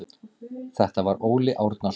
Þetta var Óli Árnason.